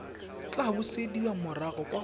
tla busediwa morago kwa go